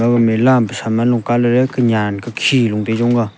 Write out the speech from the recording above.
age mela am saman am a kunen kukhen low jon tai jonga.